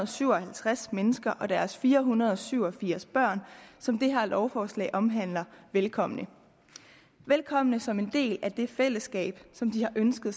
syv og halvtreds mennesker og deres fire hundrede og syv og firs børn som det her lovforslag omhandler velkommen velkommen som en del af det fællesskab som de har ønsket